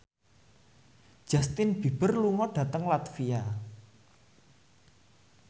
Justin Beiber lunga dhateng latvia